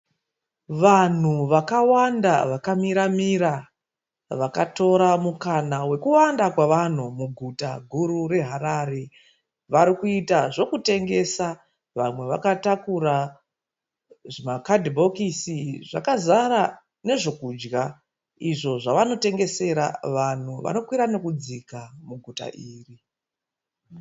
Vanhu vakawanda vakamira mira mira vakatora mukana wekuwanda kwe vanhu muguta guru reHarare. Vari kuita zvekutengesa vamwe vakatakura zvima kadhibhosiki zvakazara nezve kudya izvo zvavanotengesera vanhu vano kwira nekudzika muguta iri.